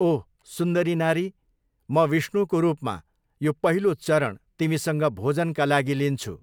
ओह! सुन्दरी नारी, म, विष्णुको रूपमा, यो पहिलो चरण तिमीसँग भोजनका लागि लिन्छु।